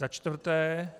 Za čtvrté.